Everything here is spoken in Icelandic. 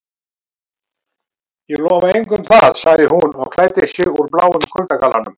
Ég lofa engu um það- sagði hún og klæddi sig úr bláum kuldagallanum.